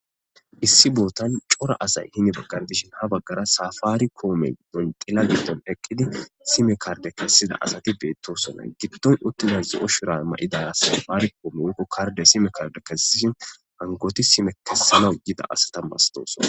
Issi boothan cora asay hini baggan dishin ha baggara saafaarikoomen woym xila giddon eqqidi sime kardde kessida asathi beeththoosona; giddon uththida zo7o shuraabe ma7ida safaarikoome woykko kardde sime kardde kessishin hankkoothi sime kessanaw yida asatha masthoosona.